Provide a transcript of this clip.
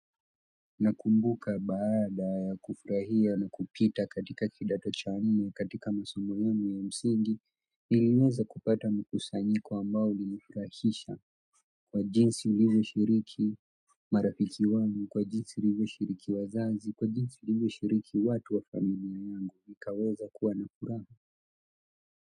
Nakumbuka baada ya kufurahia na kupita katika kidato cha nne katika masomo yangu ya msingi niliweza kupata mkusanyiko ambao ulinifurahisha kwa jinsi nilivyoshiriki marafiki wangu kwa jinsi nilivyoshiriki wazazi kwa jinsi nilivyoshiriki watu wa familia yangu nikaweza kuwa na furaha.